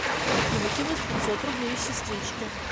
афина кинуть пятьсот рублей сестричке